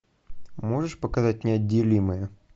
можешь показать неотделимые